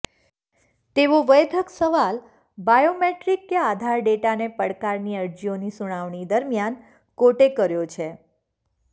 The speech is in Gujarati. તેવો વૈદ્યક સવાલ બાયોમેટ્રીક કે આધાર ડેટાને પડકારની અરજીઓની સુનાવણી દરમિયાન કોર્ટે કર્યો છે